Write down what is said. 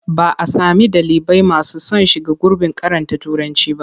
Ba a sami ɗalibai masu son shiga gurbin karanta Turanci ba.